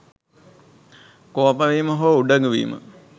කෝපවීම හෝ උඩඟු වීම